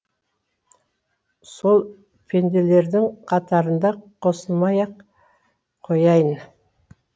сол пенделердің қатарына қосылмай ақ қояйын